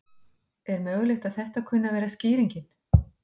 Er mögulegt að þetta kunni að vera skýringin?